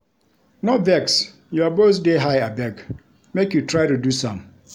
No vex, your voice dey high abeg, make you try reduce am.